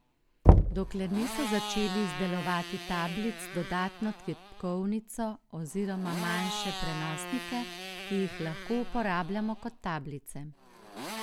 Dokler niso začeli izdelovati tablic z dodano tipkovnico oziroma manjše prenosnike, ki jih lahko uporabljamo kot tablice.